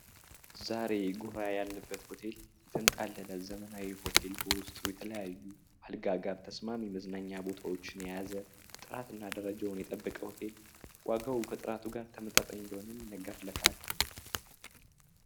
ዛሬ ጉራ ያለበት ሆቴል የተንጣለለ ዘመናዊ ሆቴል በውስጥ የተለያዩ ተስማሚ መዝናኛ ቦታዎችን የያዘ ጣት እና ደረጃውን ይጠብቀው ሆቴል ዋጋው ከጥራቱ ጋር ተመጣጣኝ እንደሆነም ይነገርልታል